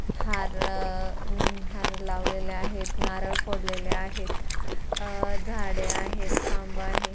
हाररर--हार लवलेले आहेत नारळ फोडलेले आहेत आ- झाडे आहेत खांब आहे.